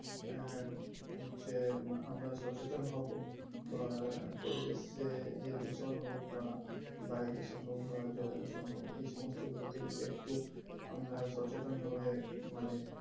আহ যে আমরা সচেতন হবো বা পরিবেশে যে দূষণ হোক বা বায়ু দূষণ হোক বা জল দূষণ হোক এই সমস্ত গুলো কে যদি একটু আমরা সচেতন ভাবে মানে